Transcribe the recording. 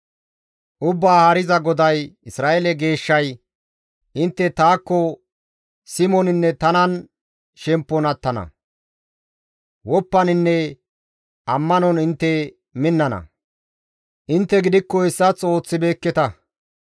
Ubbaa Haariza GODAY, Isra7eele Geeshshay, «Intte taakko simoninne tanan shempon attana; woppaninne ammanon intte minnana; intte gidikko hessaththo ooththibeekketa.